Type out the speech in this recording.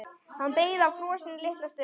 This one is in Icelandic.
Hann beið frosinn litla stund.